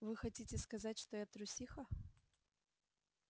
вы хотите сказать что я трусиха